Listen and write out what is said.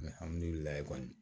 kɔni